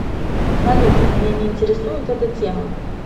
салют меня не интересует эта тема